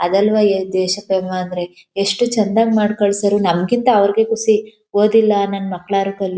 ಅದಲ್ವಾ ಈ ದೇಶಪ್ರೇಮ ಅಂದ್ರೆ ಎಷ್ಟು ಚಂದ ಮಾಡಿ ಕಳಿಸ್ಯಾರೆ ನಮಕ್ಕಿಂತ ಅವರಿಗೆ ಖುಷಿ ಓದಿಲ್ಲ ನಮ್ಮ್ ಮಕ್ಕಳಾದರೂ.